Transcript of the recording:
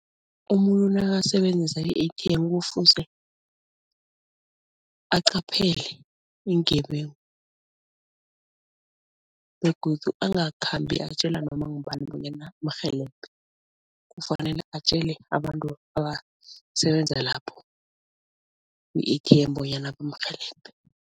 Umuntu nakasebenzisa i-A_T_M kufuze aqaphele iingebengu begodu angakhambi atjela noma ngubani bonyana amrhelebhe, kufanele atjele abantu abasebenza lapho ku-A_T_M bonyana bamrhelebhe.